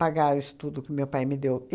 Pagar o estudo que meu pai me deu.